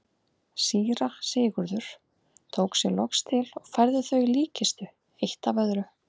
Síra Sigurður tók sig loks til og færði þau í líkkistu eitt af öðru.